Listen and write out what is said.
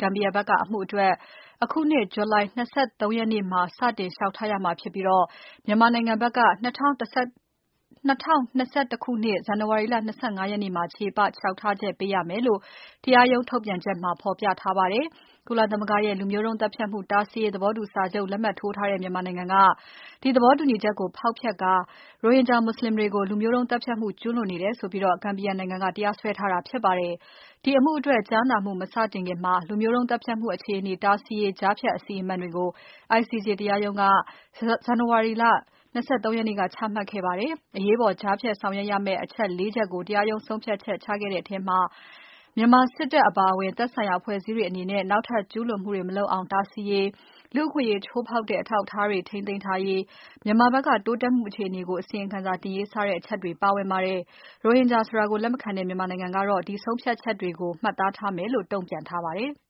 ဂမ်ဘီယာဘက်က အမှုအတွက် အခုနှစ် ဂျူလိုင် ၂၃ ရက်နေ့မှာ စတင်လျှောက်ထားရမှာဖြစ်ပြီး မြန်မာနိုင်ငံဘက်က ၂၀၂၁ ခုနှစ် ဇန်နဝါရီ ၂၅ ရက်နေ့မှာ ချေပလျှောက်ထားချက်ပေးရမယ်လို့ တရားရုံးထုတ်ပြန်ချက်မှာဖော်ပြထားပါတယ်။ ကုလသမဂ္ဂရဲ့ လူမျိုးတုံးသတ်ဖြတ်မှု တားဆီးရေး သဘောတူစာချုပ် လက်မှတ်ရေးထိုးထားတဲ့ မြန်မာနိုင်ငံက ဒီသဘောတူချက်ကို ဖောက်ဖျက်ကာ ရိုဟင်ဂျာမူဆလင်တွေကို လူမျိုးတုံးသတ်ဖြတ်မှုကျူးလွန်နေတယ်ဆိုပြီး ဂမ်ဘီယာနိုင်ငံက တရားစွဲထားတာဖြစ်ပါတယ်။ ICJ က ချမှတ်လိုက်တဲ့ ကြားဖြတ် အရေးပေါ်စီမံချက်တွေကို ဖတ်ရှုနိုင်ပါတယ်။ ဒီအမှုအတွက် ကြားနာမှု မစတင်ခင်မှာ လူမျိုးတုန်းသတ်ဖြတ်မှုအခြေအနေ တားဆီးရေး ကြားဖြတ်အစီအမံတွေကို ICJ တရားရုံးက ဇန်နဝါရီလ ၂၃ ရက်နေ့က ချမှတ်ခဲ့ပါတယ်။ အရေးပေါ်ကြားဖြတ်ဆောင်ရွက်ရမယ့် အချက် ၄ ချက်ကို တရားရုံးက ဆုံးဖြတ်ချမှတ်ခဲ့တာပါ။ အဲဒီထဲမှာ မြန်မာစစ်တပ်အပါအဝင် သက်ဆိုင်ရာအဖွဲ့အစည်းတွေအနေနဲ့ နောက်ထပ်ကျူးလွန်မှုတွေ မလုပ်အောင် တားဆီးရေး၊ လူ့အခွင့်အရေးချိုးဖောက်တဲ့ အထောက်အထားတွေ ထိန်းသိမ်းထားရေး၊ မြန်မာဘက်က တိုးတက်မှုအခြေအနေကို အစီရင်ခံစာတင်ရေး စတဲ့အချက်တွေပါဝင်ပါတယ်။ ရိုဟင်ဂျာဆိုတာကို လက်မခံတဲ့ မြန်မာနိုင်ငံကတော့ ဒီဆုံးဖြတ်ချက်တွေကို မှတ်သားထားမယ်လို့ တုံ့ပြန်ထားပါတယ်။